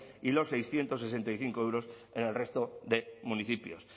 y los seiscientos sesenta y cinco euros en el resto de municipios